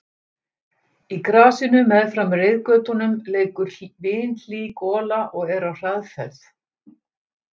Í grasinu meðfram reiðgötunum leikur vinhlý gola og er á hraðferð.